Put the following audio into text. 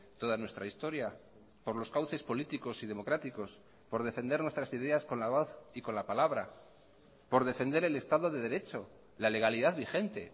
toda nuestra historia por los cauces políticos y democráticos por defender nuestras ideas con la voz y con la palabra por defender el estado de derecho la legalidad vigente